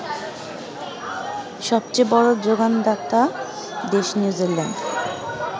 সবচেয়ে বড় যোগানদাতা দেশ নিউজিল্যান্ড